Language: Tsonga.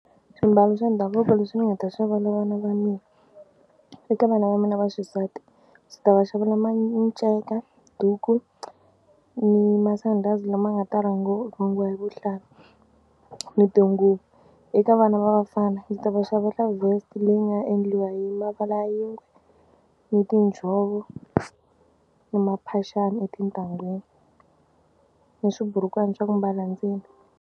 Swimbalo swa ndhavuko leswi ni nga ta xavela vana va mina eka vana va mina va xisati ndzi ta va xavela ma minceka, duku ni masandhazi lama nga ta rhungiwa hi vuhlalu ni tinguvu. Eka vana va vafana ndzi ta va xavela vest leyi nga endliwa hi mavala ya yingwe ni tinjhovo ni mphaxani etintangwini ni swiburukwana swa ku mbala ndzeni.